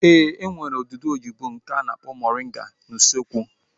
Ee, e nwere odudu oyibo nke a na-akpọ moringa n'usekwu